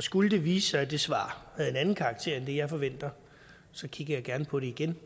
skulle det vise sig at det svar har en anden karakter end det jeg forventer så kigger jeg gerne på det igen